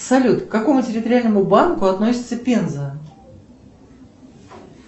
салют к какому территориальному банку относится пенза